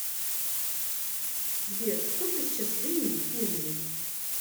сбер сколько сейчас времени в пензе